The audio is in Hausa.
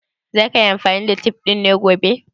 Za ka yi amfani da tef ɗin gobe?